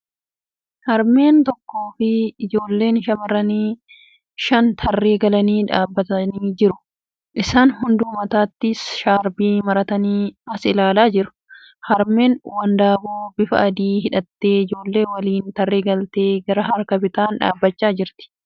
Harmeen tokkoo fi ijoolleen shamarranii shan tarree galanii dhaabbataa jiru. Isaan hunduu mataatti shaarbii maratanii as ilaalaa jiru. Harmeen wandaboo bifa adii hidhattee ijoollee waliin tarree galtee gara harka bitaan dhaabbachaa jirti.